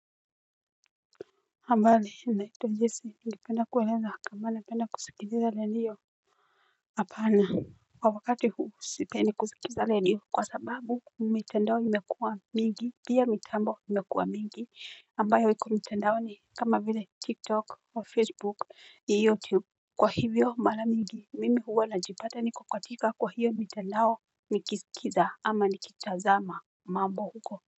Habari naitwa jesi, ningependa kueleza, kama napenda kusikiliza redio hapana. Kwa wakati huu sipendi kusikiza redio, kwa sababu, mitandao imekuwa mingi. Pia mitambo imekuwa mingi. Ambayo iko mitandaoni kama vile TikTok au Facebook youtube kwa hivyo mara mingi. Mimi huwa najipata niko katika kwa hiyo mitandao nikisikiza ama nikitazama mambo huko.